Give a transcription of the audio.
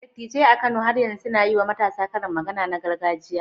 Dattijai a Kano har yanzu suna yi wa matasa karin magana na gargajiya?